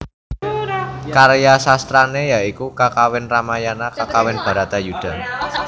Karya sastrané ya iku kakawin Ramayana kakawin Bharata Yudha